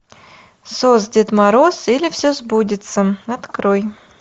сос дед мороз или все сбудется открой